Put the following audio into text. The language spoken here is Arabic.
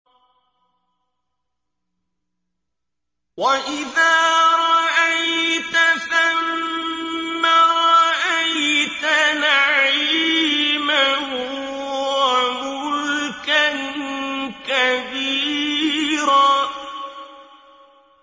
وَإِذَا رَأَيْتَ ثَمَّ رَأَيْتَ نَعِيمًا وَمُلْكًا كَبِيرًا